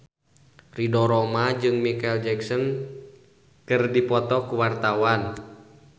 Ridho Roma jeung Micheal Jackson keur dipoto ku wartawan